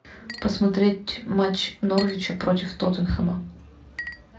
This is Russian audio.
посмотреть матч норвича против тоттенхэма